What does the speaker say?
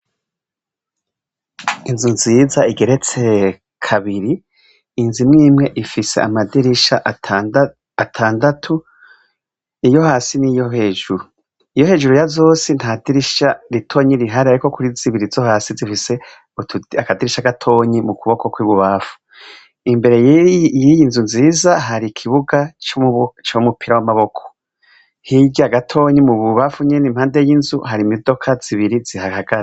Inzu nziza igeretse kabiri, inzu imwimwe ifise amadirisha atandatu iyo hasi n'iyo hejuru, iyo hejuru ya zose nta dirisha ritonyi rihari, ariko kuri zibiri zo hasi zifise akadirisha gatonyi mu kuboko kw'ibubamfu, imbere y'iyi nzu nziza hari ikibuga c'umupira w'amaboko, hirya gatonyi mu bubamfu nyene impande y'inzu hari imidoka zibiri zihahagaze.